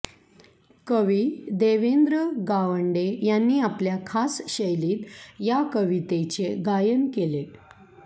कवी देवेंद्र गावंडे यांनी आपल्या खास शैलीत या कवितेचे गायन केले